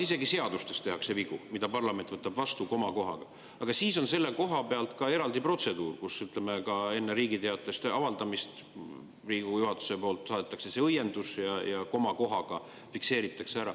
Isegi seadustes, mida parlament võtab vastu, tehakse vigu, komakohaga, aga siis on selleks eraldi protseduur, kus, ütleme, enne Riigi Teatajas avaldamist Riigikogu juhatus saadab õienduse ja komakoht fikseeritakse ära.